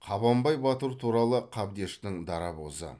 қабанбай батыр туралы қабдештің дарабозы